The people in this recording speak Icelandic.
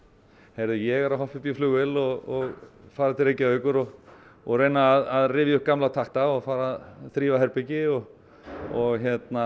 heyrðu ég er að hoppa upp í flugvél og fara til Reykjavíkur og og reyna að rifja upp gamla takta og fara að þrífa herbergi og og